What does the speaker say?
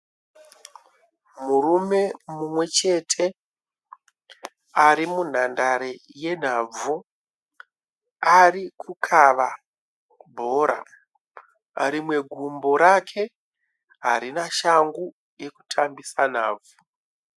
Murume mumwechete arimunhandare yenhabvu. Arikukava bhora. Rimwe gumbo rake harina shangu yekutambisa nhabvu.